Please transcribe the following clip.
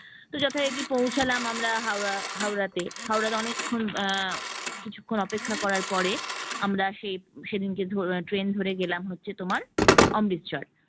যথারীতি পৌছালাম আমরা হাওড়া হাওড়া তে হাওড়া তে অনেকক্ষণ আহ কিছুক্ষণ অপেক্ষা করার পরে আমরা সেই সেদিনকে ট্রেন ধরে গেলাম হচ্ছে তোমার অমৃতসর